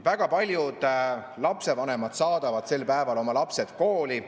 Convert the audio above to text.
Väga paljud lapsevanemad saadavad sel päeval oma lapsed kooli.